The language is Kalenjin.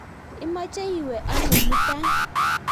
imeche iwe ano mutai?